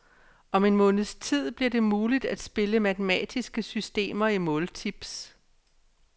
Om en måneds tid bliver det muligt at spille matematiske systemer i måltips.